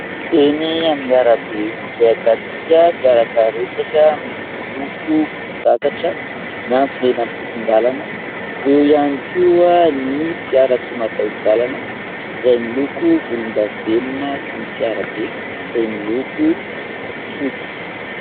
Enỳ amin'ny arabe izay ahitantsika fiara karetsaka miloko "volon-dagatra" miantsona eny amin'ny sisin-dalana. Eo ihany koa ny fiara tsy mataho-dalana izay miloko volondavenina sy ny fiara be izay miloko fotsy.